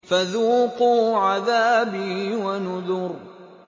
فَذُوقُوا عَذَابِي وَنُذُرِ